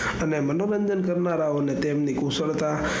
અને મનોરંજન કરનારા ઓને તેમની કુશળતા,